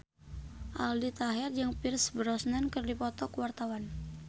Aldi Taher jeung Pierce Brosnan keur dipoto ku wartawan